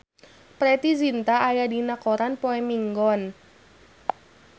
Preity Zinta aya dina koran poe Minggon